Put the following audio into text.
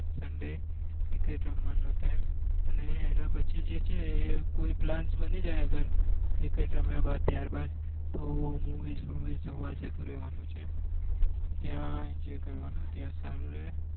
sunday cricket રમવાનો time અને એના પછી જે છે એ કોઈ plans બની જાય અગર cricket રમ્યા બાદ ત્યારબાદ તો movie બુવીઝ જોવા જતું રહેવાનું છે ત્યાં enjoy કરવાનું ત્યાં સારું રે.